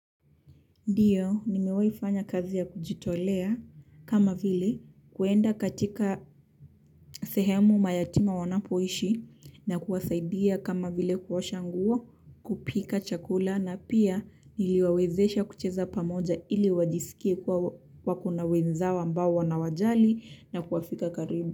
Ndiyo nimewahifanya kazi ya kujitolea kama vile kuenda katika sehemu mayatima wanapoishi na kuwasaidia kama vile kuosha nguo kupika chakula na pia niliwawezesha kucheza pamoja ili wajisikie kuwa wako na wenzao ambao wanawajali na kuwafika karibu.